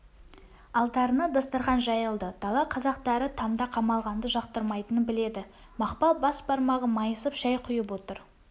алдарына дастарқан жайылды дала қазақтары тамда қамалғанды жақтырмайтынын біледі мақпал бас бармағы майысып шай құйып отыр